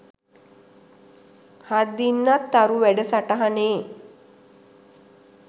හත්දින්නත් තරු වැඩසටහනේ